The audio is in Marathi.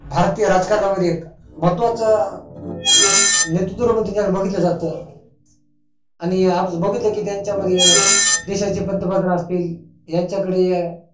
भारतीय राजकारणा मध्ये महत्वाच नेतृत्व म्हणुन त्यांच्याकडे बघितल जातं आणि आज बघितलं की त्यांच्यामध्ये देशाचे पंत प्रधान असतील यांच्या कडे